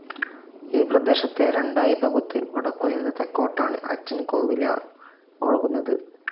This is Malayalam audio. ഈപ്രദേശത്തെ രണ്ടായി പകുത്ത് വടക്കു നിന്ന് തെക്കൊട്ടാണ് അച്ചൻകോവിലാർ ഒഴുകുന്നത്.